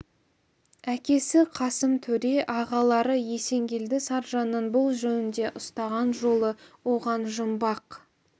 әкесі қасым төре ағалары есенгелді саржанның бұл жөнінде ұстаған жолы оған жұмбақ